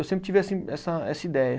Eu sempre tive essa in, essa essa ideia.